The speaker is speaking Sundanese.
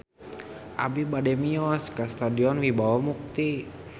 Abi bade mios ka Stadion Wibawa Mukti